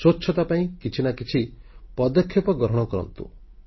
ସ୍ୱଚ୍ଛତା ପାଇଁ କିଛି ନା କିଛି ପଦକ୍ଷେପ ଗ୍ରହଣ କରନ୍ତୁ